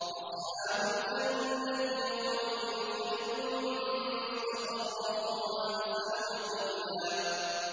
أَصْحَابُ الْجَنَّةِ يَوْمَئِذٍ خَيْرٌ مُّسْتَقَرًّا وَأَحْسَنُ مَقِيلًا